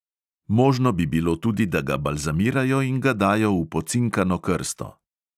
Možno bi bilo tudi, da ga balzamirajo in ga dajo v pocinkano krsto.